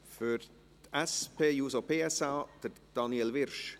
Für die SP-JUSO-PSA, Daniel Wyrsch.